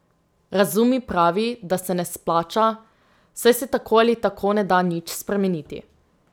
Razum mi pravi, da se ne splača, saj se tako ali tako ne da nič spremeniti.